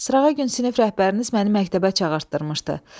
Srağa gün sinif rəhbəriniz məni məktəbə çağırtdırmışdı.